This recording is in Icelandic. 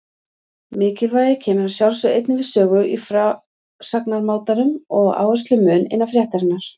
Mikilvægi kemur að sjálfsögðu einnig við sögu í frásagnarmátanum og áherslumun innan fréttarinnar.